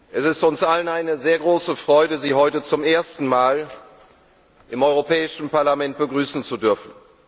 Es ist uns allen eine sehr große Freude, Sie heute zum ersten Mal im Europäischen Parlament begrüßen zu dürfen.